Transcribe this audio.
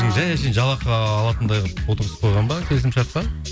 жай әшейін жалақы алатындай қылып отырғызып қойған ба келісім шартқа